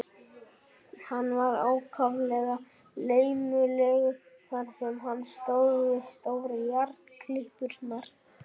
Hann var ákaflega laumulegur þar sem hann stóð við stóru járnklippurnar.